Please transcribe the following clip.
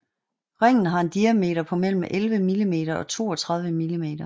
Ringen har en diameter på mellem 11 mm og 32 mm